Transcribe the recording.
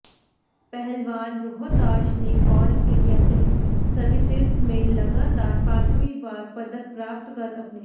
पहलवान रोहताश ने all India civil services में लगातार पांचवीं बार पदक प्राप्त कर अपने